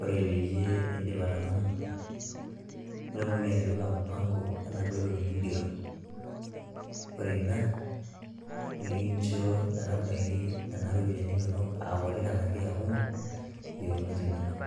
ore peyie idip atang'amu, nitumoki atipika mpango enaduo toki nigero. Ore ina, nikincho metabaiki nena ropiyaiani inonok akuti enake akumok, yiounot inonok.